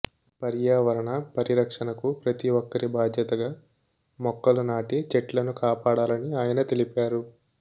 పర్యావరణ పరిరక్షణకు ప్రతి ఒక్కరి బాధ్యతగా మొక్కలు నాటి చెట్లను కాపాడాలని ఆయన తెలిపారు